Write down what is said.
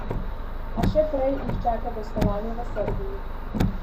A še prej jih čaka gostovanje v Srbiji.